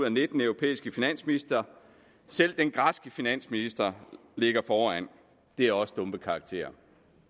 af nitten europæiske finansministre selv den græske finansminister ligger foran det er også dumpekarakter